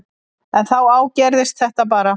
En þá ágerðist þetta bara.